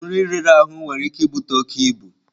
Nri riri ahụ nwere ike ibute oke ibu.